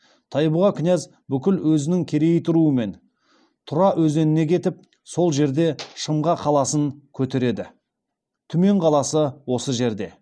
тайбұға князь бүкіл өзінің керейіт руымен тұра өзеніне кетіп сол жерде шымға қаласын көтереді түмен қаласы осы жерде